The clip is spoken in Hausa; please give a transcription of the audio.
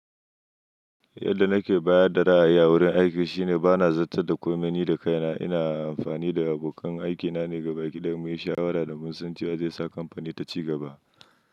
Yadda nake bayar da ra'ayi a wurin aiki shine bana zattar da komai ni da kaina. Ina amfani da abokan aikina ne gaba ɗaya muyi shawara da mun san cewa zai sa kamfanin taci gaba.